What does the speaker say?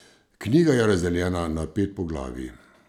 Knjiga je razdeljena na pet poglavij.